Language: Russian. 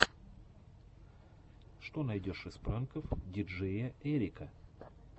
что найдешь из пранков диджеяэрика